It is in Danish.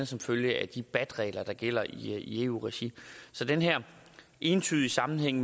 som følge af de bat regler der gælder i eu regi så den her entydige sammenhæng